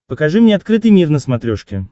покажи мне открытый мир на смотрешке